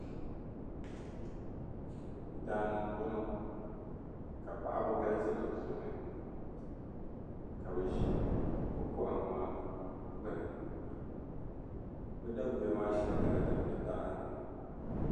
Daa ni m-bɔŋɔ ka paɣiba galisi di puuni ka bɛ ʒi bɛ kɔhimma gbuni bɛ daguya maa shɛli nyɛla din be taha ni.